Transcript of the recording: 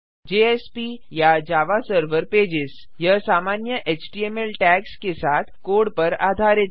JSP या Java server Pages यह सामान्य एचटीएमएल टैग्स के साथ कोड पर आधारित है